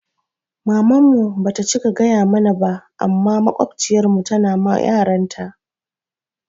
Maman mu ba ta cika gaya mana ba amma maƙwabciyar mu tana ma yaranta